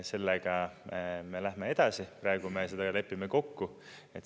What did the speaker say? Sellega me läheme edasi, praegu me seda lepime kokku.